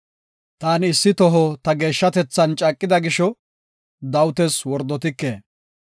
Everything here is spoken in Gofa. Taani issi toho ta geeshshatethan caaqida gisho, Dawitas wordotike.